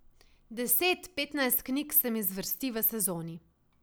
Deset, petnajst knjig se mi zvrsti v sezoni.